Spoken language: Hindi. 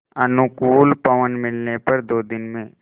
अनुकूल पवन मिलने पर दो दिन में